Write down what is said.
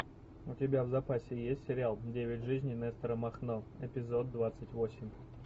у тебя в запасе есть сериал девять жизней нестора махно эпизод двадцать восемь